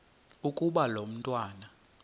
ukuba lo mntwana